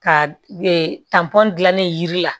Ka gilanni yiri la